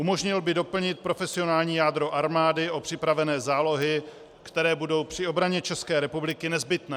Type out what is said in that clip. Umožnil by doplnit profesionální jádro armády o připravené zálohy, které budou při obraně České republiky nezbytné.